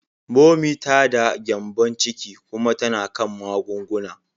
Momi ta da gyembon ciki kuma tana kan magunguna.